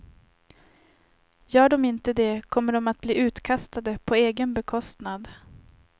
Gör de inte det kommer de att bli utkastade på egen bekostnad.